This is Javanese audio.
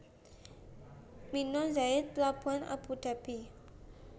Mina Zayid plabuhan Abu Dhabi